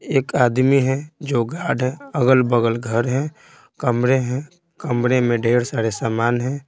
एक आदमी है जो गार्ड है अगल-बगल घर है कमरे हैं कमरे में ढेर सारे सामान हैं।